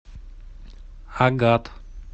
агат